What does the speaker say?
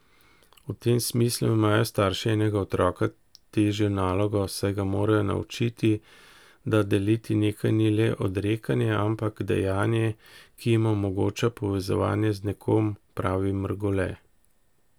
V tem smislu imajo starši enega otroka težjo nalogo, saj ga morajo naučiti, da deliti nekaj ni le odrekanje, ampak dejanje, ki jim omogoča povezovanje z nekom, pravi Mrgole.